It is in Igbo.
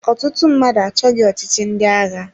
Ọtụtụ mmadụ achọghị ọchịchị ndị agha.